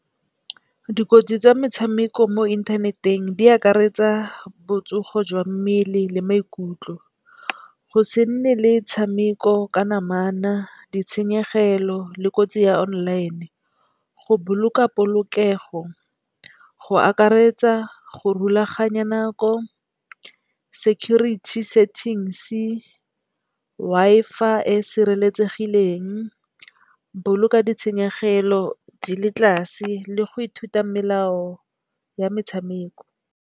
Dikotsi tsa metshameko mo inthaneteng di akaretsa botsogo jwa mmele le maikutlo. Go se nne le tshameko ka namana, ditshenyegelo le kotsi ya online. Go boloka polokego go akaretsa go rulaganya nako security settings-e, Wi-Fi e e sireletsegileng, boloka ditshenyegelo di le tlase le go ithuta melao ya metshameko.